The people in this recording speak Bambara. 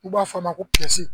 U b'a f'a ma ko